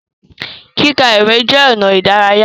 Kíka ìwé jẹ ọnà idaraya.